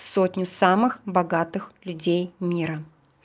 сотню самых богатых людей мира